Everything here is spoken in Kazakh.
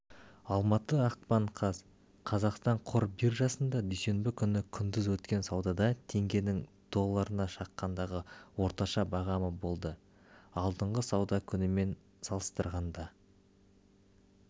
алматы ақпан қаз қазақстан қор биржасында дүйсенбі күні күндіз өткен саудада теңгенің долларына шаққандағы орташа бағамы болды алдыңғы сауда күнімен салыстырғанда